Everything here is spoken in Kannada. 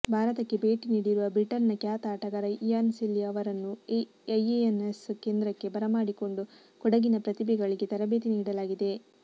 ಭಾರತಕ್ಕೆ ಭೇಟಿ ನೀಡಿರುವ ಬ್ರಿಟನ್ನ ಖ್ಯಾತ ಆಟಗಾರ ಇಯಾನ್ ಸೆಲ್ಲಿಅವರನ್ನು ಐಎನ್ಎಸ್ ಕೇಂದ್ರಕ್ಕೆ ಬರಮಾಡಿಕೊಂಡು ಕೊಡಗಿನ ಪ್ರತಿಭೆಗಳಿಗೆ ತರಬೇತಿ ನೀಡಲಾಗಿದೆ